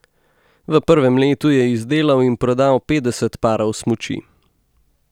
V prvem letu je izdelal in prodal petdeset parov smuči.